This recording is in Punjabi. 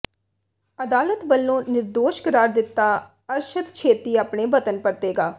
ਅਦਾਲਤ ਵੱਲੋਂ ਨਿਰਦੋਸ਼ ਕਰਾਰ ਦਿੱਤਾ ਅਰਸ਼ਦ ਛੇਤੀ ਆਪਣੇ ਵਤਨ ਪਰਤੇਗਾ